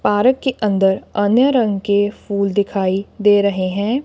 Park के अंदर अन्य रंग के फूल दिखाई दे रहे हैं।